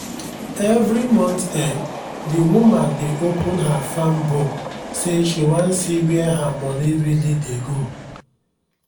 every month end the woman dey open her farm book say she wan see where her money really dey go.